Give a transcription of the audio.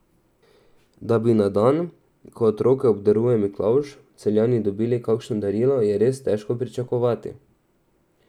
Da bi na dan, ko otroke obdaruje Miklavž, Celjani dobili kakšno darilo, je res težko pričakovati.